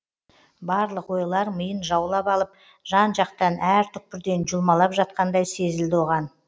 барлық ойлар миын жаулап алып жан жақтан әр түкпірден жұлмалап жатқандай сезілді оған